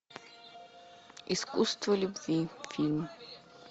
искусство любви фильм